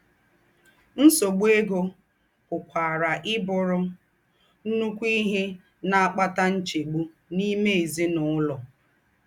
Ńsọ̀gbu égó pùkwarà íbùrù ńnụ́kù íhe ná-àkpátà ńchègbù n’ímè èzín’úlọ̀.